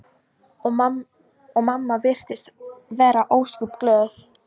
Og mamma virtist vera ósköp glöð.